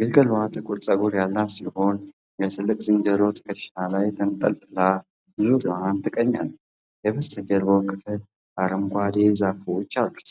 ግልገሏ ጥቁር ፀጉር ያላት ሲሆን የትልቁ ዝንጀሮ ትከሻ ላይ ተንጠልጥላ ዙሪያዋን ትቃኛለች። የበስተጀርባው ክፍል አረንጓዴ ዛፎች አሉት።